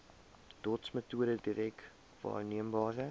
dotsmetode direk waarneembare